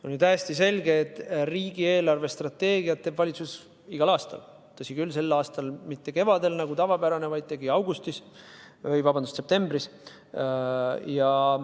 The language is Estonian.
On täiesti selge, et riigi eelarvestrateegiat teeb valitsus igal aastal, tõsi küll, sel aastal mitte kevadel nagu tavapäraselt, vaid septembris.